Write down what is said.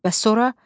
Bəs sonra?